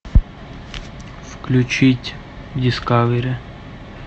включить дискавери